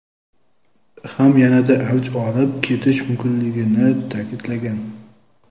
ham yanada avj olib ketishi mumkinligini ta’kidlagan.